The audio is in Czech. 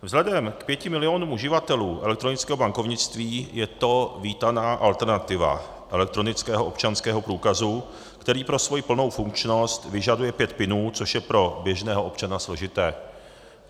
Vzhledem k 5 milionům uživatelů elektronického bankovnictví je to vítaná alternativa elektronického občanského průkazu, který pro svoji plnou funkčnost vyžaduje pět PINů, což je pro běžného občana složité.